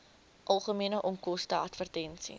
algemene onkoste advertensies